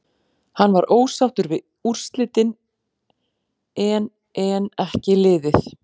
Hann var ósáttur við úrslitin en en ekki liðið.